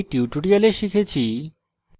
সংক্ষিপ্তকরণ করি in tutorial শিখেছি